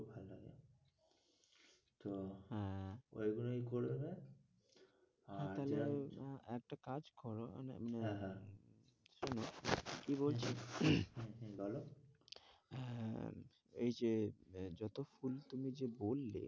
ওই গুলোই করবে আর তাহলে একটা কাজ করো হ্যাঁ হ্যাঁ শোনো কি বলছি বলো হ্যাঁ এই যে যতো ফুল তুমি যে বললে,